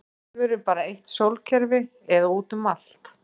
Er alheimurinn bara eitt sólkerfi eða útum allt?